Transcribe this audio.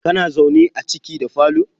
kana zaune a ciki da falo?